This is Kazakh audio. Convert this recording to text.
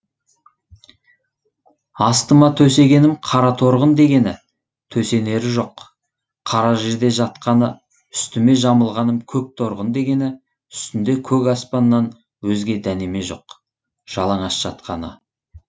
астыма төсегенім қара торғын дегені төсенері жоқ қара жерде жатқаны үстіме жамылғаным көк торғын дегені үстінде көк аспаннан өзге дәнеме жоқ жаланаш жатқаны